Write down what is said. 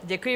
Děkuji.